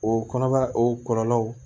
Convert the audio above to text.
O kɔnɔbara o kɔlɔlɔw